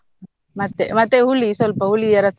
ಮತ್ತೆ ಮತ್ತೆ ಹುಳಿ ಸ್ವಲ್ಪ ಹುಳಿಯ ರಸ.